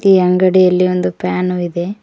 ಈ ಅಂಗಡಿಯಲ್ಲಿ ಒಂದು ಫ್ಯಾನು ಇದೆ.